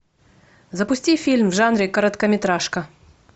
запусти фильм в жанре короткометражка